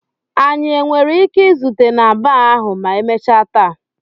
Anyị nwere ike izute na baa ahụ ma emechaa taa?